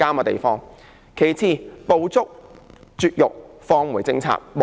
其次，不應停止"捕捉、絕育、放回"政策。